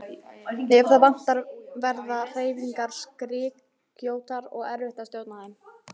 Ef það vantar verða hreyfingar skrykkjóttar og erfitt að stjórna þeim.